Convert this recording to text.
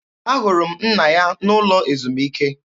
Ahụrụ m nna ya n'ụlọ ezumike.